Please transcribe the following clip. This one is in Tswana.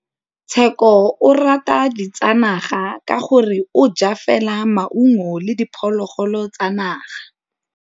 Tshekô o rata ditsanaga ka gore o ja fela maungo le diphologolo tsa naga.